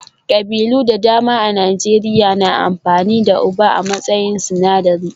Ƙabilu da dama a Najeriya na amfani da Ugba a matsayin sinadari